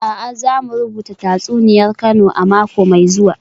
A'a, za mu rubuta tatsuniyar Kano a mako mai zuwa